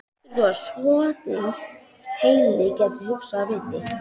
Heldurðu að soðinn heili geti hugsað af viti?